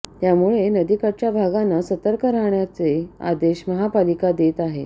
त्यामुळे नदी काठच्या भागांना सतर्क राहण्याचे आदेश महापालिका देत आहे